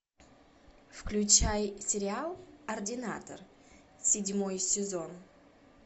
включай сериал ординатор седьмой сезон